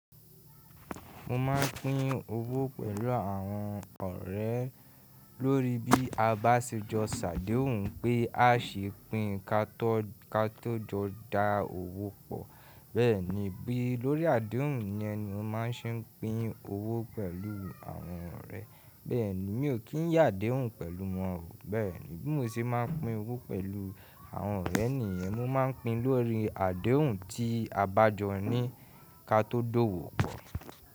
Mo máà ń pín owó pẹ̀lú àwọn ọ̀rẹ́ lórí bí a bá ṣe jọ ṣàdéhùn pé a ṣe pín ka tó jọ dá owó pọ̀. Bẹ́ẹ̀ ni bí lórí àdéhùn ni ẹni ó máa ṣe ń pín owó pẹ̀lú àwọn ọ̀rẹ́. Bẹ́ẹ̀ ni mi ò kí ń yàdéhùn pẹ̀lú wọn o. Bẹ́ẹ̀ ni bí mo ṣe máa ń pín owó pẹ̀lú àwọn ọ̀rẹ́ ni ìyẹn mo máa ń pín lórí àdéhùn tí a bá jọ ní ká tó dówó pọ̀.